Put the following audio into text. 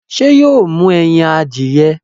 ṣé yóò mú ẹyin adìyẹ?